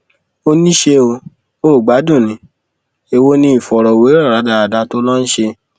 ó ní ṣé o ò gbádùn ní èwo ni ìfọrọwérọ rádaràda tó o lọ ń ṣe